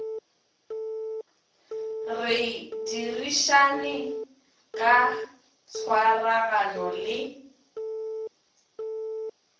re dirišane ka tshwaragano le